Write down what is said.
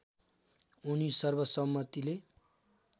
उनी सर्वसम्मतिले